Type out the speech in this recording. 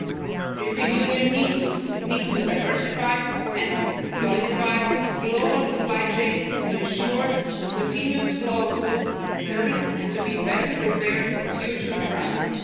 The European Union needs to diversify and solidify its global supply chains to ensure the continuous flow of goods and services and to be better prepared for future crises.